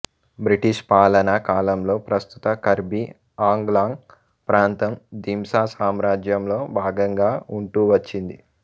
British పాలనా కాలంలో ప్రస్తుత కర్బి ఆంగ్లాంగ్ ప్రాంతం దింసా సామ్రాజ్యంలో భాగంగా ఉంటూవచ్చింది